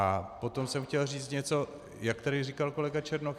A potom jsem chtěl říct něco, jak tady říkal kolega Černoch.